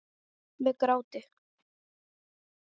Með gráti.